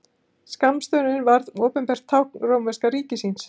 Skammstöfunin varð opinbert tákn rómverska ríkisins.